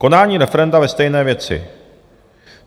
Konání referenda ve stejné věci.